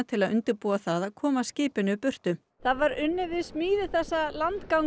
til að undirbúa það að koma skipinu burtu það var unnið að smíði þessa